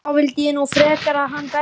Þá vildi ég nú frekar að hann berði mig.